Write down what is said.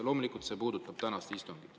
Loomulikult see puudutab tänast istungit.